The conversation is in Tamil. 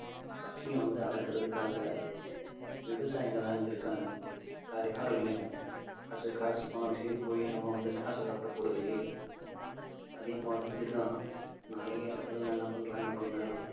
பசியை வந்து அடக்குறதுக்காக விவசாயிங்கதான் இங்க இருக்காங்க வேற யாரும் இல்லைங்க. காசு காசு பணம் தேடிப் போய் நம்ம வந்து காசு சாப்பிடப் போறது இல்லையே அதே மாதிரி இதுதான் நிறைய இடத்திலே எல்லாம் என்ன பண்றாங்க அப்பிடின்னா